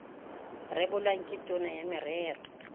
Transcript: rebolwang ke tona ya merero